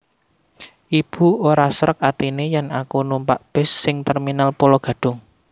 Ibu ora srek atine yen aku numpak bis sing Terminal Pulo Gadung